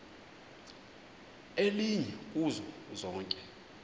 elinye kuzo zonke